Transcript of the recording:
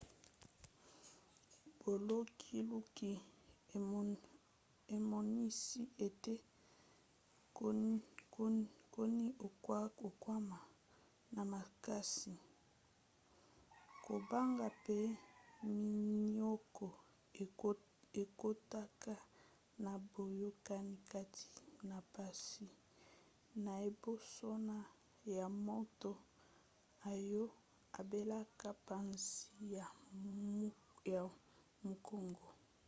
bolukiluki emonisi ete koniokwama na makasi kobanga pe minioko ekotaka na boyokani kati na mpasi na ebosono ya moto oyo abelaka mpasi ya mukongo